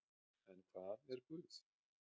En hvað er Guð?